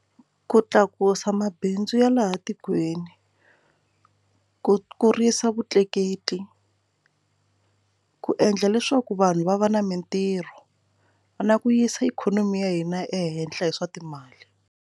Ku tlakusa mabindzu ya laha tikweni ku kurisa vutleketli ku endla leswaku vanhu va va na mintirho va na ku yisa ikhonomi ya hina ehenhla hi swa timali.